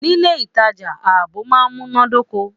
Nilé ìtajà, ààbò máa n munadoko.